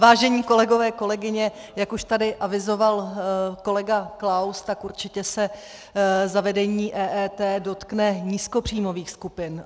Vážení kolegové, kolegyně, jak už tady avizoval kolega Klaus, tak určitě se zavedení EET dotkne nízkopříjmových skupin.